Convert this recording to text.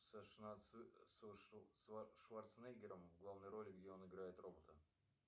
с шварцнегером в главной роли где он играет робота